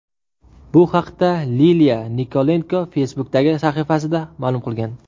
Bu haqda Liliya Nikolenko Facebook’dagi sahifasida ma’lum qilgan .